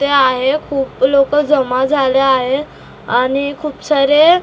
इथे आहे खूप लोकं जमा झाले आहे आणि खूप सारे --